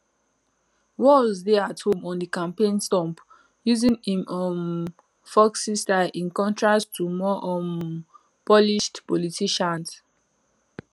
walz dey at home on di campaign stump using im um folksy style in contrast to more um polished politicians